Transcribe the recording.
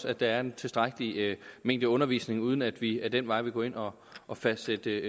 at der er en tilstrækkelig mængde undervisning uden at vi ad den vej vil gå ind og og fastsætte